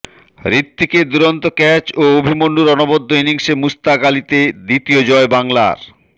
ঋত্বিকের দুরন্ত ক্যাচ ও অভিমন্যুর অনবদ্য ইনিংসে মুস্তাক আলিতে দ্বিতীয় জয় বাংলার